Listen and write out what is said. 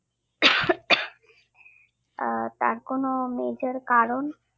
আহ তার কোন major কারণ